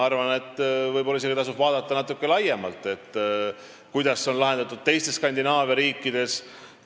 Ma arvan, et võib-olla isegi tasub vaadata natuke laiemalt – kuidas on see lahendatud teistes Skandinaavia riikides.